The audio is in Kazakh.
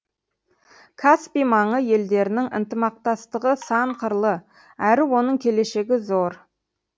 каспий маңы елдерінің ынтымақтастығы сан қырлы әрі оның келешегі зор